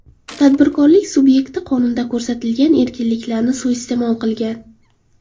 Tadbirkorlik subyekti qonunda ko‘rsatilgan erkinliklarni suiiste’mol qilgan.